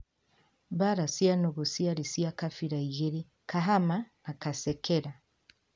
Mbara cia nũgũ ciarĩ cia kabira igĩri Kahama na Kasekela